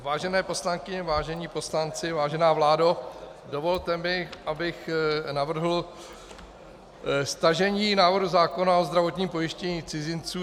Vážené poslankyně, vážení poslanci, vážená vládo, dovolte mi, abych navrhl stažení návrhu zákona o zdravotním pojištění cizinců.